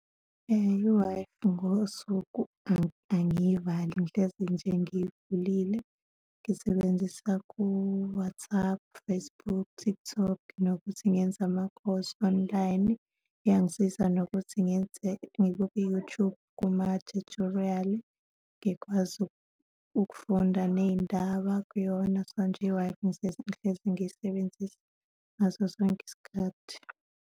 I-Wi-Fi ngosuku angiyivali, ngihlezi nje ngiyivulile, ngisebenzisa ku-WhatsApp, Facebook, TikTok, nokuthi ngenza ama-course online, iyangisiza nokuthi ngenze ngibuke i-YouTube kuma-tutorial, ngikwazi ukufunda ney'ndaba kuyona, so nje i-Wi-Fi ngihlezi ngiyisebenzisa ngaso sonke isikhathi.